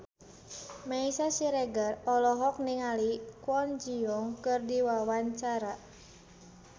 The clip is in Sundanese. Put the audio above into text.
Meisya Siregar olohok ningali Kwon Ji Yong keur diwawancara